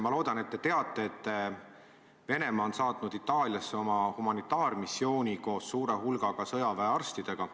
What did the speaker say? Ma loodan, et te teate, et Venemaa on saatnud Itaaliasse oma humanitaarmissiooni koos suure hulga sõjaväearstidega.